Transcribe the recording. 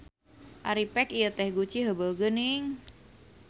Ari pek ieu teh guci heubeul geuning.